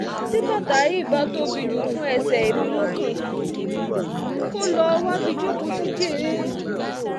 tí bàtà yìí bá tóbi jù fún ẹsẹ̀ emilokan kó lọ́ọ́ wábi jókòó sí jẹ́ẹ́ o